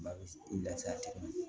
Ba bɛ lafiya togo min na